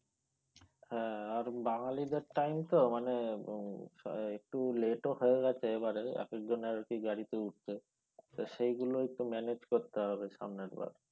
হ্যাঁ আর বাঙালি দের টাইম তো মানে একটু late ও হয়ে গেছে এবারে এক একজনের আর কি গাড়ি তে উঠতে তো সেইগুলো একটু manage করতে হবে সামনের বার।